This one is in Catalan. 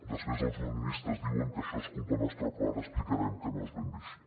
després els unionistes diuen que això es culpa nostra però ara explicarem que no és ben bé així